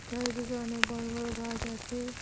চারিদিকে অনেক বড় বড় গাস আচে।